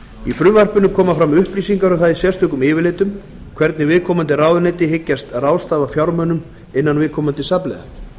í frumvarpinu koma fram upplýsingar um það í sérstökum yfirlitum hvernig viðkomandi ráðuneyti hyggjast ráðstafa fjármunum innan viðkomandi safnliða